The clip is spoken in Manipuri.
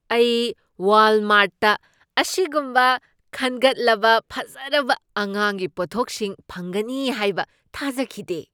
ꯑꯩ ꯋꯥꯜꯃꯥꯔꯠꯇ ꯑꯁꯤꯒꯨꯝꯕ ꯈꯟꯒꯠꯂꯕ ꯐꯖꯔꯕ ꯑꯉꯥꯡꯒꯤ ꯄꯣꯠꯊꯣꯛꯁꯤꯡ ꯐꯪꯒꯅꯤ ꯍꯥꯏꯕ ꯊꯥꯖꯈꯤꯗꯦ ꯫